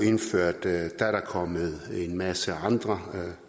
indført er der kommet en masse andre